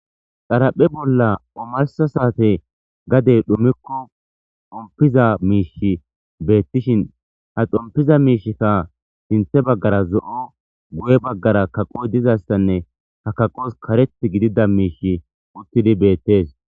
Xarapheza bolla omarsa saate gadey xumikko xompiza miisha beettishin ha xompiza miishika sinthe baggara zo'o guye baggara kaqoy dizastanne ha kaqos kareth gidida miisha uttidi beettes.